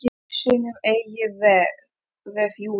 Var föst í sínum eigin vef, Júlía.